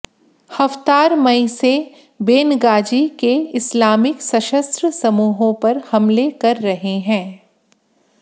Haftar मई से Benghazi के इस्लामिक सशस्त्र समूहों पर हमले कर रहे हैं